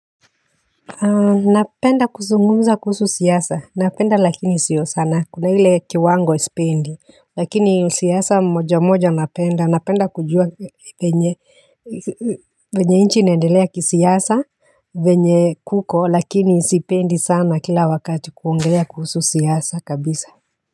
Napenda kuzungumza kuhusu siasa napenda lakini siyo sana kuna ile kiwango sipendi lakini siasa moja moja napenda napenda kujua vyenye vyenye nchi inaendelea kisiasa vyenye kuko lakini sipendi sana kila wakati kuongelea kuhusu siasa kabisa.